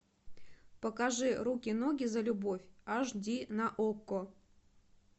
покажи руки ноги за любовь аш ди на окко